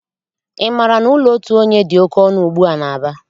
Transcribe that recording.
Ị maara na ụlọ otu onye dị oké ọnụ ugbua n'Aba?